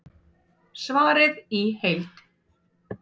Svarið í heild